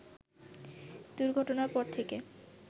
দুর্ঘটনার পর থেকে